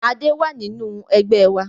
Adé wá nínú Ẹgbẹ́ wa